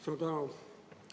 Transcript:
Suur tänu!